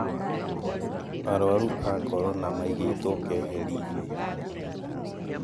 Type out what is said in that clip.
Arũaru aa korona maaigeitwo keheri-inĩ